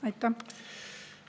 Aitäh!